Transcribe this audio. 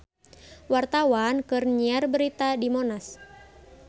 Wartawan keur nyiar berita di Monas